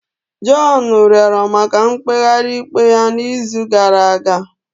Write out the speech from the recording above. John rịọrọ maka mkpegharị ikpe ya n'izu gara aga.